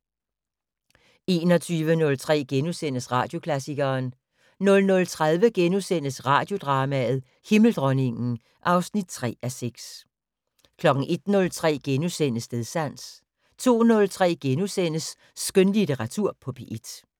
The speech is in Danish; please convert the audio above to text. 21:03: Radioklassikeren * 00:30: Radiodrama: Himmeldronningen (3:6)* 01:03: Stedsans * 02:03: Skønlitteratur på P1 *